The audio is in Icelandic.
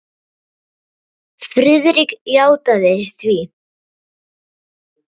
Friðrik játaði því.